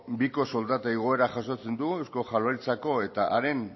biko soldata igoera jasotzen dugu eusko jaularitzako eta haren